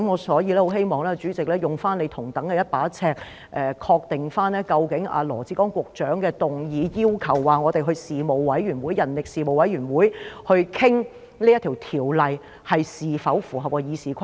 所以，我希望主席用同一把尺來確定，究竟羅致光局長的議案，要求交由人力事務委員會討論此《條例草案》，是否符合《議事規則》。